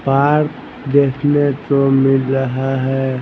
Park देखने को मिल रहा हैं।